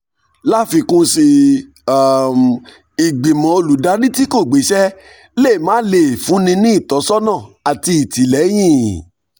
láfikún sí i um ìgbìmọ̀ olùdarí tí kò gbéṣẹ́ lè máà lè um fúnni ní ìtọ́sọ́nà àti ìtìlẹ́yìn